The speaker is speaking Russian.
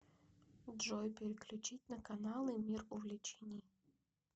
джой переключить на каналы мир увлечений